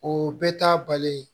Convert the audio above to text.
O bɛɛ ta bali